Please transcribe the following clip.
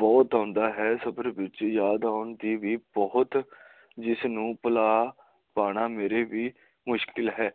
ਬਹੁਤ ਆਉਂਦਾ ਹੈ ਸਫਰ ਵਿੱਚ ਯਾਦ ਆਉਣ ਦੇ ਵੀ ਬਹੁਤ ਜਿਸ ਨੂੰ ਭੁਲਾ ਪਾਉਣਾ ਮੇਰੇ ਵੀ ਮੁਸ਼ਕਿਲ ਹੈ